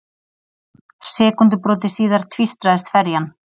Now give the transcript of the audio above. Sekúndubroti síðar tvístraðist ferjan.